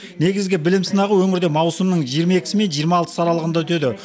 негізгі білім сынағы өңірде маусымның жиырма екісі мен жиырма алтысы аралығында өтеді